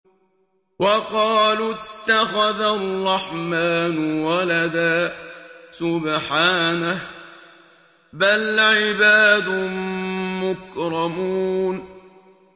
وَقَالُوا اتَّخَذَ الرَّحْمَٰنُ وَلَدًا ۗ سُبْحَانَهُ ۚ بَلْ عِبَادٌ مُّكْرَمُونَ